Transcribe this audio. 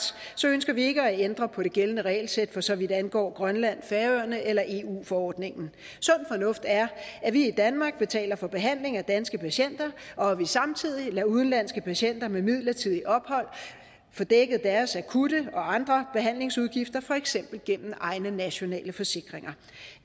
ønsker vi ikke at ændre på det gældende regelsæt for så vidt angår grønland færøerne eller eu forordningen sund fornuft er at vi i danmark betaler for behandling af danske patienter og at vi samtidig lader udenlandske patienter med midlertidigt ophold få dækket deres akutte og andre behandlingsudgifter for eksempel gennem egne nationale forsikringer